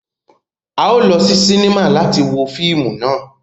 A o lọ si sinima láti wo fíìmù náà